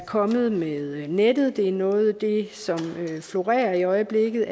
kommet med nettet det er noget af det som florerer i øjeblikket